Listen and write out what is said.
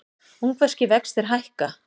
Ungverskir vextir hækka